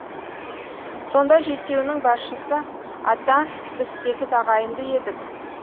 сонда жетеуінің басшысы ата біз сегіз ағайынды едік